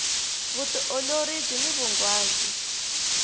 vutiolori byini vunghwazi